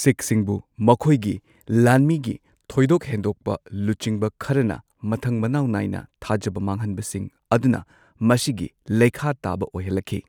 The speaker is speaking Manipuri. ꯁꯤꯈꯁꯤꯡꯕꯨ ꯃꯈꯣꯏꯒꯤ ꯂꯥꯟꯃꯤꯒꯤ ꯊꯣꯏꯗꯣꯛ ꯍꯦꯟꯗꯣꯛꯄ ꯂꯨꯆꯤꯡꯕ ꯈꯔꯅ ꯃꯊꯪ ꯃꯅꯥꯎ ꯅꯥꯢꯅ ꯊꯥꯖꯕ ꯃꯥꯡꯍꯟꯕꯁꯤꯡ ꯑꯗꯨꯅ ꯃꯁꯤꯒꯤ ꯂꯩꯈꯥ ꯇꯥꯕ ꯑꯣꯏꯍꯜꯂꯛꯈꯤ꯫